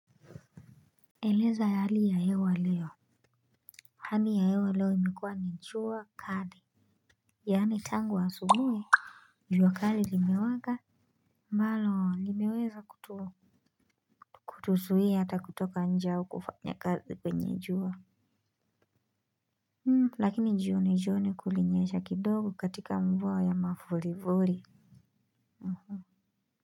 Eleza hali ya hewa leo. Hali ya hewa leo imekuwa ni jua kali. Yaani tangu a subuhi jua kali lime waka ambalo limeweza kutu kutuzuia hata kutoka njeau kufanya kazi kwenye jua Hmm lakini jio ni jio ni kulinyesha kidogo katika mvua ya mavurivuri Uhu.